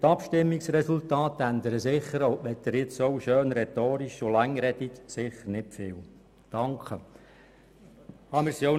Die Abstimmungsresultate ändern sich nicht gross, auch wenn Sie rhetorisch schön und lange sprechen.